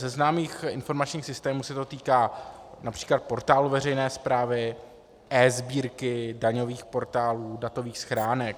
Ze známých informačních systémů se to dotýká například portálu veřejné správy, eSbírky, daňových portálů, datových schránek.